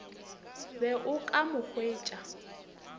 be o ka mo hwetša